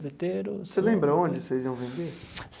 Sorveteiro. Você lembra onde vocês iam vender?